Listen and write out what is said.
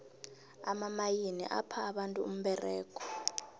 amamayini apha abantu umberego